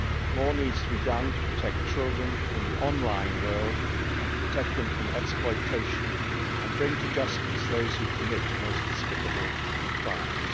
More needs to be done to protect children in the online world, and to protect them from exploitation and bring to justice those who commit the most despicable of crimes.